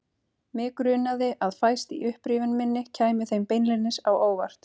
Mig grunaði að fæst í upprifjun minni kæmi þeim beinlínis á óvart.